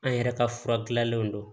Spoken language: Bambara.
An yɛrɛ ka fura dilannen don